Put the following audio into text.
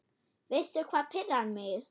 Veistu hvað pirrar mig?